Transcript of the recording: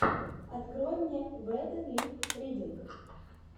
открой мне вэд лип ридинг